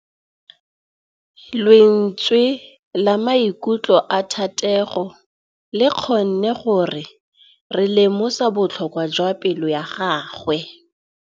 Lentswe la maikutlo a Thategô le kgonne gore re lemosa botlhoko jwa pelô ya gagwe.